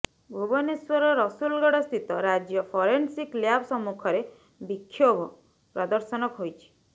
ଭୁବନେଶ୍ୱର ରସୁଲଗଡ ସ୍ଥିତ ରାଜ୍ୟ forensic lab ସମ୍ମୁଖରେ ବିକ୍ଷୋଭ ପ୍ରଦର୍ଶନ ହୋଇଛି